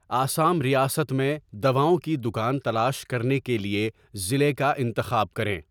آسام ریاست میں دواؤں کی دکان تلاش کرنے کے لیے ضلع کا انتخاب کریں